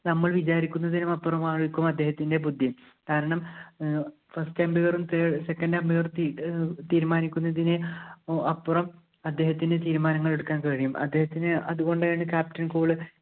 നമ്മള്‍ വിചാരിക്കുന്നതിനുമപ്പുറം ആയിരിക്കും അദ്ദേഹത്തിന്‍റെ ബുദ്ധി. കാരണം, first umpire ഉം, second umpire ഉം തീരുമാനിക്കുന്നതിന്റെ അപ്പുറം അദ്ദേഹത്തിനു തീരുമാനങ്ങള്‍ എടുക്കാന്‍ കഴിയും. അദ്ദേഹത്തിനെ അതുകൊണ്ടാണ് captain cool